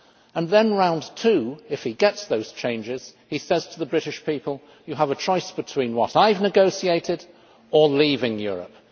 and then in round two, if he gets those changes, he says to the British people, You have a choice between what I have negotiated or leaving Europe'.